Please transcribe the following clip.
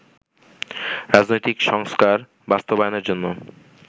রাজনৈতিক সংস্কার বাস্তবায়নের জন্য